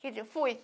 Quer dizer, fui.